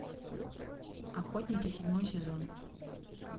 охотники седьмой сезон